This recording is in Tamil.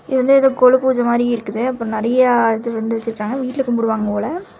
இது வந்து ஏதோ கொலு பூஜை மாறி இருக்குது. அப்புறம் நெறைய இது வந்து வச்சிருக்காங்க. வீட்டல கும்புடு வாங்க போல.